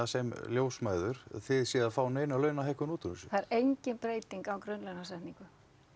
sem ljósmæður þið séuð að fá neina launahækkun út úr þessu það er engin breyting á grunnlaunasetningu